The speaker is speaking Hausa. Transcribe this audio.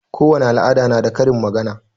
Kowani al'ada na da karin magana.